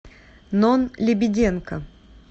нон лебеденко